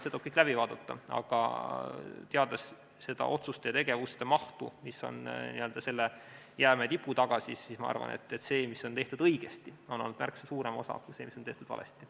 See tuleb kõik läbi vaadata, aga teades otsuste ja tegevuste mahtu, mis on selle jäämäe tipu taga, ma arvan, et seda, mis on tehtud õigesti, on olnud märksa suurem osa, kui on olnud seda, mis on tehtud valesti.